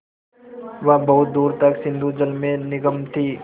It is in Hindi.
वह बहुत दूर तक सिंधुजल में निमग्न थी